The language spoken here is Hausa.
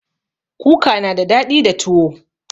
Kuka na da daɗi da tuwo